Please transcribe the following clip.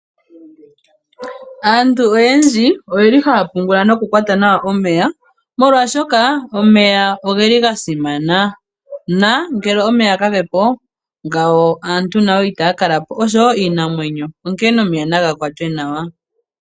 Aantu oyendji oye li haya pungula nawa noku kwata omeya, molwaashoka omeya ogeli gasimana, na ngele omeya kage po naantu nawo itaya kala po osho woo iinamwenyo, onkene omeya naga kwatwe nawa.